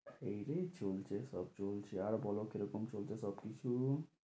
এইরে চলছে সব চলছে আর বলো কিরকম চলছে সব কিছু?